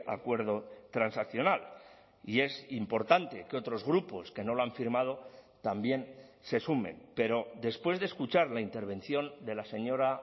acuerdo transaccional y es importante que otros grupos que no lo han firmado también se sumen pero después de escuchar la intervención de la señora